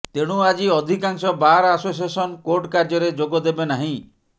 ତେଣୁ ଆଜି ଅଧିକାଂଶ ବାର୍ ଆସୋସିଏସନ୍ କୋର୍ଟ କାର୍ଯ୍ୟରେ ଯୋଗ ଦେବେ ନାହିଁ